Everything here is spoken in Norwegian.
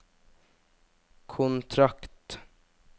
kontrakt